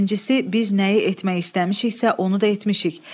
Birincisi, biz nəyi etmək istəmişiksə, onu da etmişik.